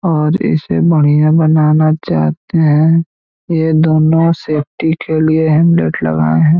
और इसे बढ़िया बनाना चाहते हैं ये दोनों सेफ्टी के लिए हेलमेट लगाए हैं।